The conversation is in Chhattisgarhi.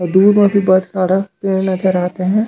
दूर-दूर में बहुत सारा पेड़ नज़र आते है।